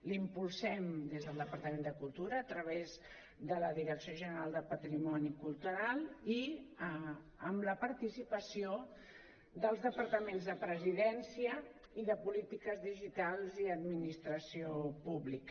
l’impulsem des del departament de cultura a través de la direcció general de patrimoni cultural i amb la participació dels departaments de presidència i de polítiques digitals i administració pública